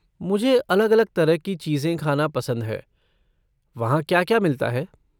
मुझे अलग अलग तरह की चीज़ें ख़ाना पसंद है, वहाँ क्या क्या मिलता है?